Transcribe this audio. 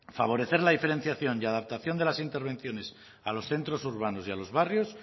favorecer la diferenciación y adaptación de las intervenciones a los centros urbanos y a los barrios